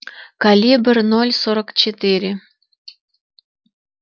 калибр ноль сорок четыре